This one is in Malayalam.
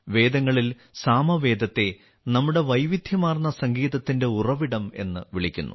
വേദങ്ങളിൽ സാമവേദത്തെ നമ്മുടെ വൈവിധ്യമാർന്ന സംഗീതത്തിന്റെ ഉറവിടം എന്ന് വിളിക്കുന്നു